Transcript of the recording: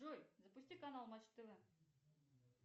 джой запусти канал матч тв